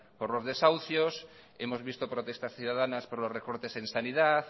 por los desahucios hemos visto protestas ciudadanas por los recortes en sanidad